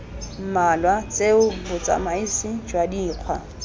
mmalwa tseo botsamisi jwa dikgwa